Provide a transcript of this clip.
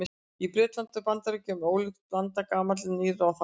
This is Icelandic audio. Í Bretlandi og Bandaríkjunum er ólík blanda gamalla og nýrra þátta.